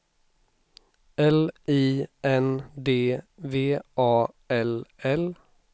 L I N D V A L L